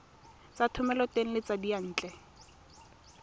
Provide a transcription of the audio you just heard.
tsa thomeloteng le tsa diyantle